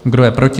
Kdo je proti?